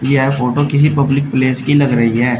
यह फोटो किसी public place की लग रही है।